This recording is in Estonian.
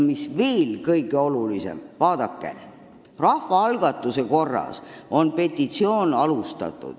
Kõige olulisem, vaadake, rahvaalgatuse korras on algatatud petitsioon.